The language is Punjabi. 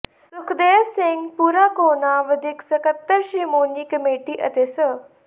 ਸੁਖਦੇਵ ਸਿੰਘ ਭੂਰਾਕੋਹਨਾ ਵਧੀਕ ਸਕੱਤਰ ਸ਼ੋ੍ਰਮਣੀ ਕਮੇਟੀ ਅਤੇ ਸ